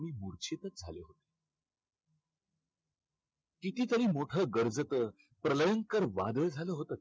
कितीतरी मोठं गर्जत प्रलयंकर वादळ झालं होतं.